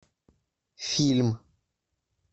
фильм